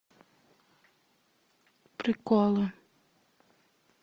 приколы